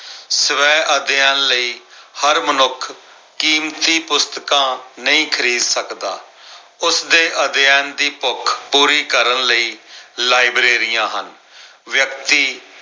ਸਵੈ ਅਧਿਐਨ ਲਈ ਹਰ ਮਨੁੱਖ ਕੀਮਤੀ ਪੁਸਤਕਾਂ ਨਹੀਂ ਖਰੀਦ ਸਕਦਾ। ਉਸਦੇ ਅਧਿਐਨ ਦੀ ਭੁੱਖ ਪੂਰੀ ਕਰਨ ਲਈ ਲਾਇਬ੍ਰੇਰੀਆਂ ਹਨ। ਵਿਅਕਤੀ